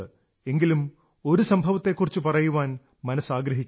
എങ്കിലും ഒരു സംഭവത്തെക്കുറിച്ച് പറയാൻ മനസ്സാഗ്രഹിക്കുന്നു